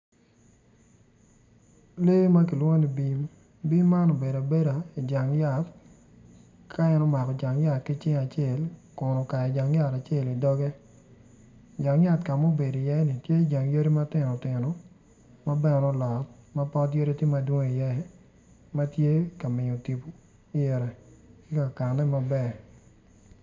Lee ma kilwongo ni bim bim man obedo abeda i jang yat ka en omako jang yat ki cinge acel kun okayo jang yat acel i doge jang yat ka ma en obedo iyeni tye yadi matino tino ma bene olot.